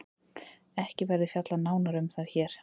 Ekki verður fjallað nánar um þær hér.